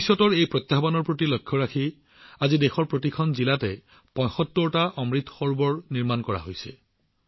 ভৱিষ্যতৰ এই প্ৰত্যাহ্বানৰ প্ৰতি লক্ষ্য ৰাখি আজি দেশৰ প্ৰতিখন জিলাতে ৭৫ টা অমৃত সৰোবৰ নিৰ্মাণ কৰা হৈছে